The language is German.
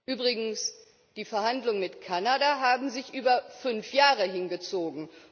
Übrigens, die Verhandlungen mit Kanada haben sich über fünf Jahre hingezogen.